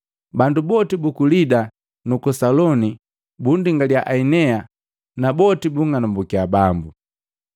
Bandu boti buku Lida nuku Saloni bunndingalya Ainea, na boti bunng'anambukya Bambu.